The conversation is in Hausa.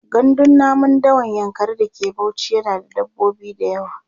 gandun namun dawan yankari da ke Bauchi yana da dabbobi da yawa